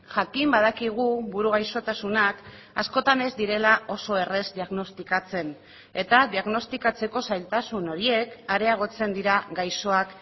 jakin badakigu buru gaixotasunak askotan ez direla oso erraz diagnostikatzen eta diagnostikatzeko zailtasun horiek areagotzen dira gaixoak